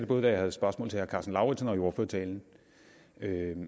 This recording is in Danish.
både da jeg havde spørgsmål til herre karsten lauritzen og i ordførertalen